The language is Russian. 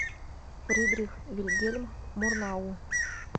фридрих вильгельм мурнау